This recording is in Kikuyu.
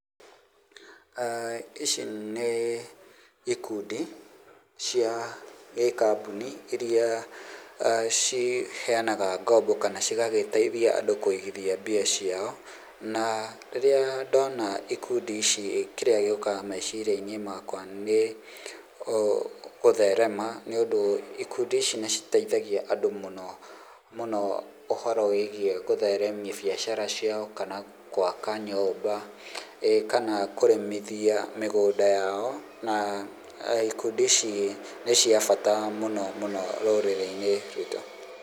Ici nĩ ikundi cia gĩkambuni iria ciheanaga ngombo kana cigagĩteithia andũ kũigithia mbia ciao, na rĩrĩa ndona ikundi ici kĩrĩa gĩũkaga meciria-inĩ makwa nĩ gũtherema nĩ ũndũ ikundi ici nĩ citeithagia andũ mũno mũno ũhoro wĩgiĩ gũtheremia biacara ciao kana gwaka nyũmba, ĩ kana kũrĩmithia mĩgũnda yao na ikundi ici nĩ cia bata mũno mũno rũrĩrĩ-inĩ rwitũ.